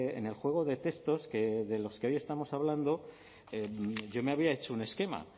en el juego de textos de los que hoy estamos hablando yo me había hecho un esquema